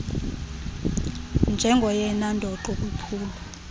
njengoyena ndoqo kwiphulo